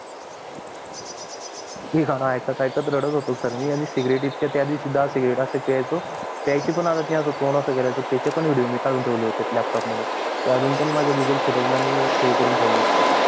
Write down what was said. हे गाणं ऐकत ऐकत रडत होतो मी cigarete हि त्या दिवशी इतका प्याचो प्याची पण आदत मी त्याचे पण video कडून ठेवले होते laptop मध्ये ते अजून पण मी माझ्या google photo ला save करून ठेवले